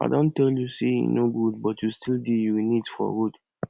i don tell you say e no good but you still dey urinate for road